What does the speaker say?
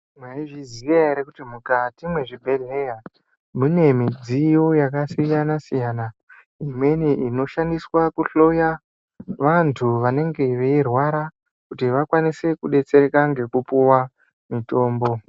Maizviziya ere kuti mukati mwezvibhedhleya mune midziyo yakasiyana siyana imweni inoshandiswa Kujloya vantu vanenge veirwara kuti vakwanise kudetsereka ngekupuwa mutombo.